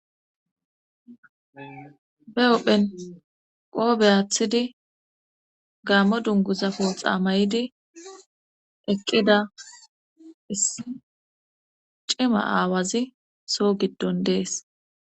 Be ophphen qoobe aathidi gaammo dunguzafo xaamayidi eqqida cima aawazi soo giddon dees.